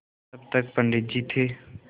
जब तक पंडित जी थे